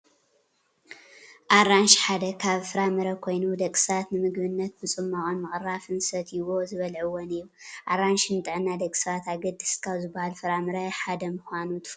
ኣራንሺ ሓደ ካብ ፍራምረ ኮይኑ ደቂ ሰባት ንምግብነት ብፅሟቅን ምቅራፍ ዝሰትይዎን ዝበልዕዎን እዩ። ኣራንሺ ንጥዕና ደቂ ሰባት ኣገደስቲ ካብ ዝባሃሉ ፍራምረ ሓደ ምኳኑ ትፈልጡ ዶ ?